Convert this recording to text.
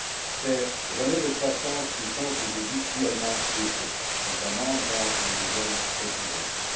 Ces relais de croissance nous font aujourd'hui cruellement défaut, notamment dans les nouvelles technologies.